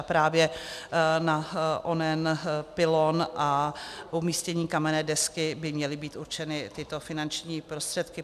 A právě na onen pylon a umístění kamenné desky by měly být určeny tyto finanční prostředky.